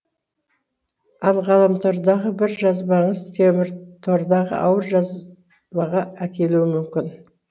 ал ғаламтордағы бір жазбаңыз теміртордағы ауыр жазбаға әкелуі мүмкін